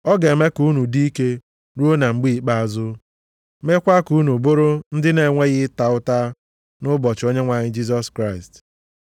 Ọ ga-eme ka unu dị ike ruo na mgbe ikpeazụ, meekwa ka unu bụrụ ndị na-enweghị ịta ụta nʼụbọchị Onyenwe anyị Jisọs Kraịst.